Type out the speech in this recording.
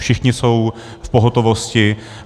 Všichni jsou v pohotovosti.